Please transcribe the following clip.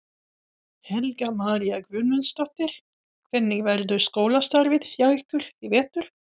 Helga María Guðmundsdóttir: Hvernig verður skólastarfið hjá ykkur í vetur?